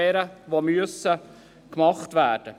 Diese müssen gemacht werden.